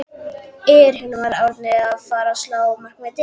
Er Hilmar Árni að fara að slá markametið?